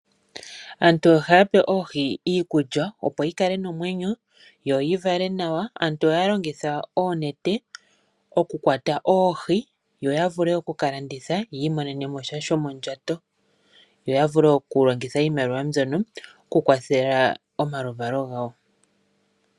Aantu ohaya pe oohi iikulya opo dhi kale nomwenyo, dho dhi vale nawa. Aantu ohaya longitha oonete oku kwata oohi, yo ya vule oku kalanditha ya imonene mo sha shomondjato, yo ya vule oku longitha iimaliwa mbyono oku kwathela omaluvalo gawo.